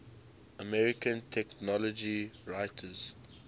american technology writers